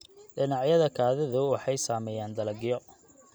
Dhinacyada kaadidu waxay sameeyaan dalagyo.